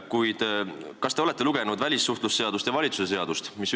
Kuid kas te olete lugenud välissuhtlemisseadust ja valitsuse seadust?